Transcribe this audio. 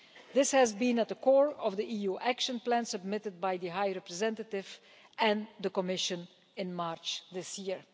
This was at the core of the EU Action Plan submitted by the High Representative and the Commission in March this year.